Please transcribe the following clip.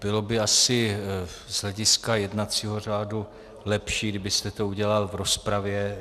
Bylo by asi z hlediska jednacího řádu lepší, kdybyste to udělal v rozpravě.